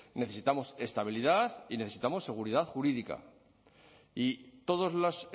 necesitamos estabilidad y necesitamos seguridad jurídica y todos los